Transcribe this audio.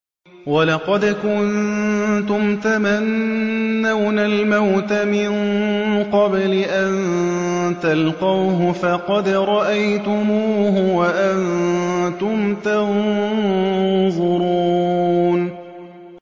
وَلَقَدْ كُنتُمْ تَمَنَّوْنَ الْمَوْتَ مِن قَبْلِ أَن تَلْقَوْهُ فَقَدْ رَأَيْتُمُوهُ وَأَنتُمْ تَنظُرُونَ